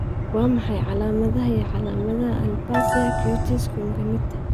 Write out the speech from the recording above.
Waa maxay calaamadaha iyo calaamadaha Aplasia cutis congenita?